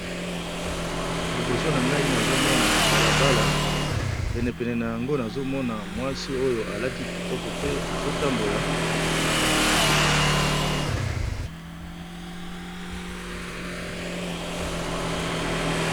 Liboso na nga nazomona balabala penepene na yango nazomona mwasi moko ya kitoko azo tambola.